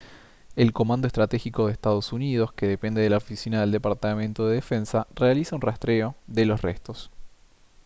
el comando estratégico de ee uu que depende de la oficina del departamento de defensa realiza un rastreo de los restos